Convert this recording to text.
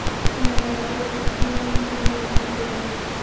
Shunda biz, bu kunning qadriga yetamiz.